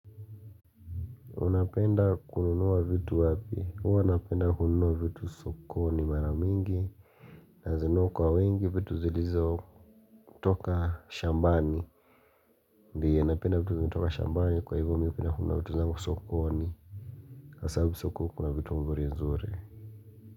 Unapenda kununua vitu wapi? Huwa napenda kununua vitu sokoni mara mingi. Nazinunua kwa wengi vitu zilizo toka shambani. Ndio, napenda vitu zilizo toka shambani kwa hivyo mi hupenda kununua vitu zangu sokoni. Kwa sababu soko kuna vitu mzuri mzuri.